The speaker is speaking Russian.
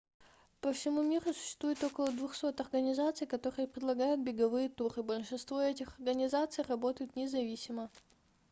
по всему миру существует около 200 организаций которые предлагают беговые туры большинство этих организаций работают независимо